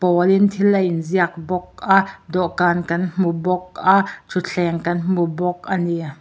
pawl in thil a in ziak bawk a dawhkan kan hmu bawk a thutthleng kan hmu bawk ani.